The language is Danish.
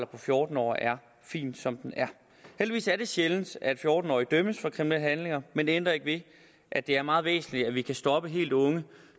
på fjorten år er fin som den er heldigvis er det sjældent at fjorten årige dømmes for kriminelle handlinger men det ændrer ikke ved at det er meget væsentligt at vi kan stoppe helt unge